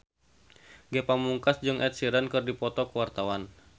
Ge Pamungkas jeung Ed Sheeran keur dipoto ku wartawan